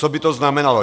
Co by o znamenalo?